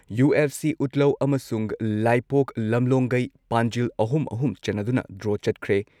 UFC ꯎꯠꯂꯧ ꯑꯃꯁꯨꯡ ꯂꯥꯏꯄꯣꯛ ꯂꯝꯂꯣꯡꯒꯩ ꯄꯥꯟꯖꯤꯜ ꯑꯍꯨꯝ ꯑꯍꯨꯝ ꯆꯟꯅꯗꯨꯅ ꯗ꯭ꯔꯣ ꯆꯠꯈ꯭ꯔꯦ ꯫